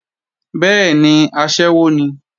Bẹ́ẹ̀ni, aṣẹ́wó ni